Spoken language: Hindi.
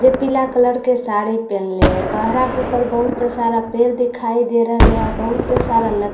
जो पीला कलर का साड़ी पहन रह लिए हैं पेहरा के ऊपर बहुतत सारे पेड़ दिखाई दे रह लिए है बहुत सारा लठ्ठी दिखाई दे --